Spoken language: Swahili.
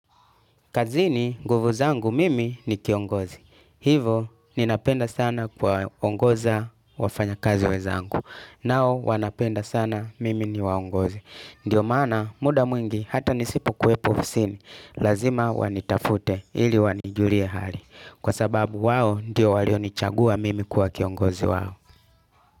Kazini nguvu zangu mimi ni kiongozi. Hivo ninapenda sana kuwa ongoza wafanya kazi wenzangu. Nao wanapenda sana mimi ni waongoze. Ndio maana muda mwingi hata nisipo kuepo ofisini. Lazima wanitafute ili wanijulie hali. Kwa sababu wao ndio walionichagua mimi kuwa kiongozi wao.